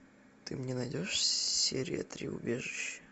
ты мне найдешь серия три убежище